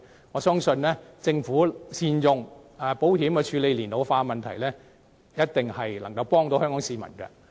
我相信政府善用保險處理社會老年化的問題，一定可以幫助香港市民。